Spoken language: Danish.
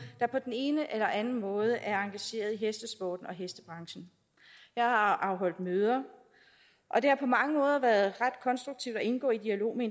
der på den ene eller anden måde er engageret i hestesporten og hestebranchen jeg har afholdt møder og det har på mange måder været ret konstruktivt at indgå i dialog med